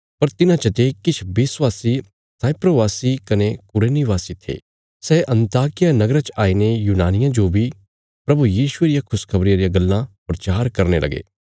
पर तिन्हां चते किछ विश्वासी साइप्रसवासी कने कुरेनी वासी थे सै अन्ताकिया नगरा च आईने यूनानियां जो बी प्रभु यीशुये रिया खुशखबरिया रियां गल्लां प्रचार करने लगे